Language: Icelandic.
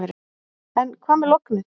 En hvað með lognið.